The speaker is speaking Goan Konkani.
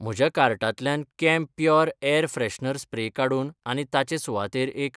म्हज्या कार्टांतल्यान कैम्प्योर एयर फ्रेशनर स्प्रे काडून आनी ताचे सुवातेर एक.